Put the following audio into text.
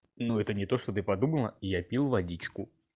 ну это не то что ты подумала я пил водичку